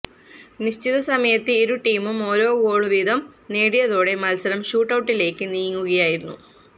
നിശ്ചിത സമയത്ത് ഇരു ടീമും ഓരോ ഗോള് വീതം നേടിയതോടെ മത്സരം ഷൂട്ടൌട്ടിലേക്ക് നീങ്ങുകയായിരുന്നു